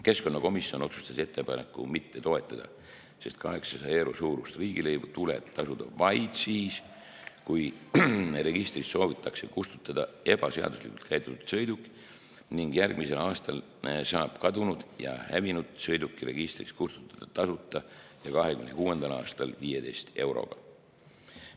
Keskkonnakomisjon otsustas ettepanekut mitte toetada, sest 800 euro suurust riigilõivu tuleb tasuda vaid siis, kui registrist soovitakse kustutada ebaseaduslikult käideldud sõiduk ning järgmisel aastal saab kadunud ja hävinud sõiduki registrist kustutada tasuta ja 2026. aastal 15 euroga.